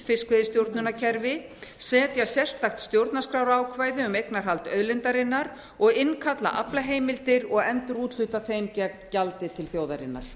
fiskveiðistjórnarkerfi setja sérstakt stjórnarskrárákvæði um eignarhald auðlindarinnar og innkalla aflaheimildir og endurúthluta þeim gegn gjaldi til þjóðarinnar